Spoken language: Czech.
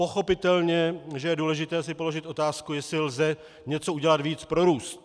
Pochopitelně že je důležité si položit otázku, jestli lze něco udělat víc pro růst.